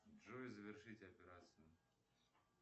джой завершить операцию